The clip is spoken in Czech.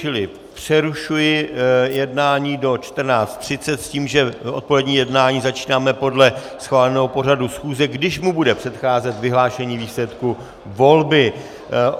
Čili přerušuji jednání do 14.30 s tím, že odpolední jednání začínáme podle schváleného pořadu schůze, kdy mu bude předcházet vyhlášení výsledku volby.